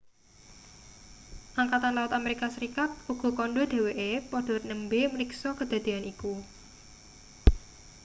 angkatan laut amerika serikat uga kandha dheweke padha nembe mriksa kedadean iku